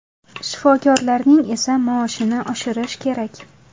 Shifokorlarning esa maoshini oshirish kerak.